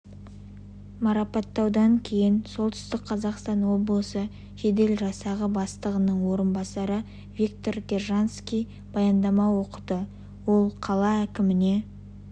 марапаттаудан кейін солтүстік қазақстан облысы жедел жасағы бастығының орынбасары виктор держанский баяндама оқыды ол қала әкіміне